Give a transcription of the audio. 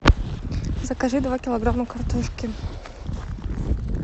закажи два килограмма картошки